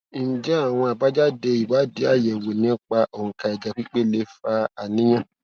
ǹjẹ àwọn àbájáde ìwádìí ayewo nípa onka ẹjẹ pipe lè fa àníyàn